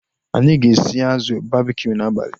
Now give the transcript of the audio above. Anyị ga-esi azụ babkiu n'abalịa